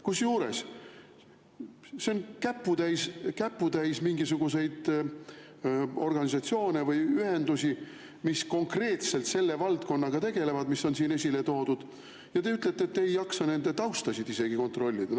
Kusjuures see on käputäis mingisuguseid organisatsioone või ühendusi, mis konkreetselt selle valdkonnaga tegelevad, mis on siin esile toodud, aga te ütlete, et te ei jaksa isegi nende tausta kontrollida.